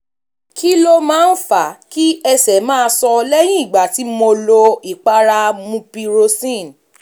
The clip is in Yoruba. kí ló máa ń fa kí ẹsẹ̀ máa so lẹ́yìn ìgbà tí tí mo lo ìpara mupirocin